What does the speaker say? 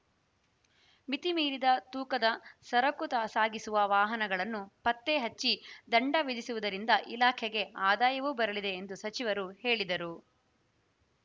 ಮಿತಿ ಮೀರಿದ ತೂಕದ ಸರಕು ಸಾಗಿಸುವ ವಾಹನಗಳನ್ನು ಪತ್ತೆ ಹೆಚ್ಚಿ ದಂಡ ವಿಧಿಸುವುದರಿಂದ ಇಲಾಖೆಗೆ ಆದಾಯವೂ ಬರಲಿದೆ ಎಂದು ಸಚಿವರು ಹೇಳಿದರು